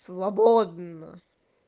свободна